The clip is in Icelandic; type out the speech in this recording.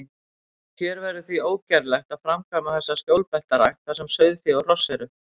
Hér verður því ógerlegt að framkvæma þessa skjólbeltarækt, þar sem sauðfé og hross eru.